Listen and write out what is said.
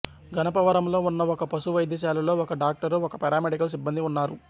గణపవరంలో ఉన్న ఒక పశు వైద్యశాలలో ఒక డాక్టరు ఒకరు పారామెడికల్ సిబ్బందీ ఉన్నారు